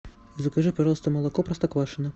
закажи пожалуйста молоко простоквашино